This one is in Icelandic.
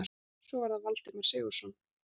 Svo var það Valdimar Sigurðsson.